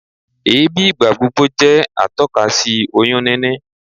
Èébì ìgbàgbogbo jẹ́ atọ́ka sí oyún níní